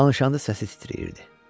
Danışanda səsi titrəyirdi.